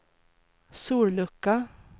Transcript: sollucka